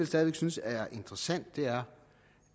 stadig væk synes er interessant er